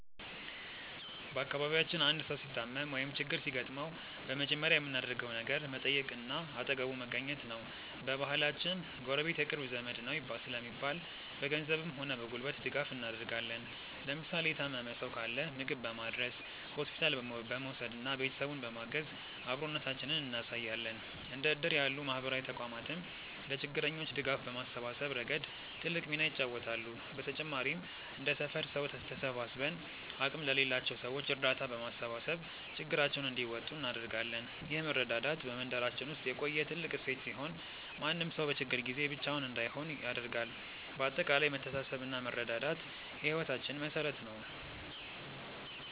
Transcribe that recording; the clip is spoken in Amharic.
በአካባቢያችን አንድ ሰው ሲታመም ወይም ችግር ሲገጥመው በመጀመሪያ የምናደርገው ነገር መጠየቅና አጠገቡ መገኘት ነው። በባህላችን "ጎረቤት የቅርብ ዘመድ ነው" ስለሚባል፣ በገንዘብም ሆነ በጉልበት ድጋፍ እናደርጋለን። ለምሳሌ የታመመ ሰው ካለ ምግብ በማድረስ፣ ሆስፒታል በመውሰድና ቤተሰቡን በማገዝ አብሮነታችንን እናሳያለን። እንደ እድር ያሉ ማህበራዊ ተቋማትም ለችግረኞች ድጋፍ በማሰባሰብ ረገድ ትልቅ ሚና ይጫወታሉ። በተጨማሪም እንደ ሰፈር ሰው ተሰባስበን አቅም ለሌላቸው ሰዎች እርዳታ በማሰባሰብ ችግራቸውን እንዲወጡ እናደርጋለን። ይህ መረዳዳት በመንደራችን ውስጥ የቆየ ትልቅ እሴት ሲሆን፣ ማንም ሰው በችግር ጊዜ ብቻውን እንዳይሆን ያደርጋል። በአጠቃላይ መተሳሰብና መረዳዳት የህይወታችን መሠረት ነው።